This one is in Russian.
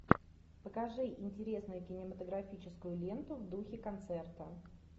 покажи интересную кинематографическую ленту в духе концерта